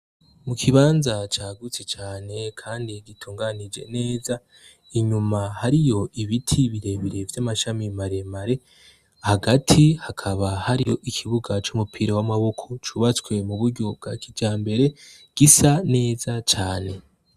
Mu kibanza cagutse cane kandi gitunganije neza, inyuma hariyo ibiti birebire vy'amashami maremare, hagati hakaba hariyo ikibuga c'umupira w'amaboko cubatswe mu buryo bwa kijambere gisa neza cane.